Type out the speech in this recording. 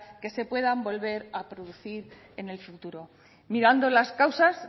que se puedan volver a producir en el futuro mirando las causas